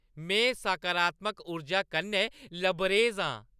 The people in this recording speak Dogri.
में सकारात्मक ऊर्जा कन्नै लबरेज आं।